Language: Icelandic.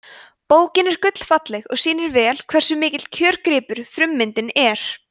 bókin er gullfalleg og sýnir vel hversu mikill kjörgripur frummyndin er